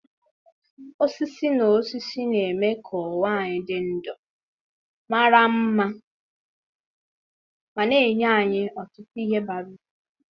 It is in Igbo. osisi na osisi na-eme ka ụwa anyị dị ndụ, mara mma ma na-enye anyị ọtụtụ ihe bara uru.